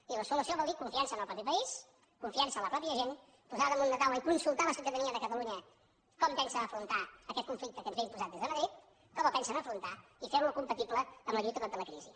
i la solució vol dir confiança en el propi país confiança en la pròpia gent posar damunt de la taula i consultar a la ciutadania de catalunya com pensa afrontar aquest conflicte que ens ve imposat des de madrid com el pensen afrontar i fer lo compatible amb la lluita contra la crisi